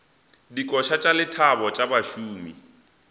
dikoša tša lethabo tša bašomi